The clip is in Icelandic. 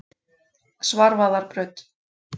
Svarfaðarbraut